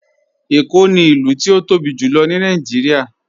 Ẹ̀kó ni ilù tí o tóbi jùlọ̀ ní Nàìjíríà.